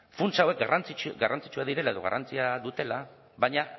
funtsa hauek garrantzitsuak direla edo garrantzia dutela baina